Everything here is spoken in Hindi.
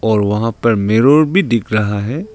और वहां पर मिरर भी दिख रहा है।